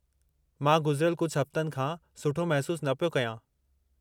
मां गुज़रियल कुझु हफ़्तनि खां सुठो महिसूसु न पियो कयां।